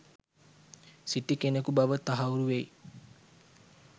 සිටි කෙනකු බව තහවුරු වෙයි.